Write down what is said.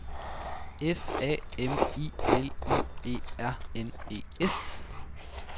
F A M I L I E R N E S